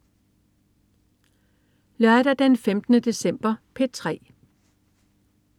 Lørdag den 15. december - P3: